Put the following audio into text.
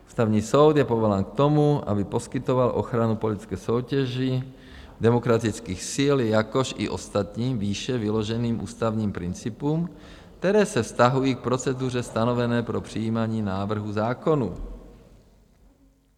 Ústavní soud je povolán k tomu, aby poskytoval ochranu politické soutěži demokratických sil, jakož i ostatním výše vyloženým ústavním principům, které se vztahují k proceduře stanovené pro přijímání návrhů zákonů.